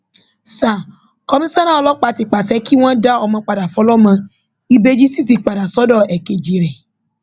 sa komisanna ọlọpàá ti pàṣẹ kí wọn dá ọmọ padà fọlọmọ ìbejì sì ti padà sọdọ èkejì ẹ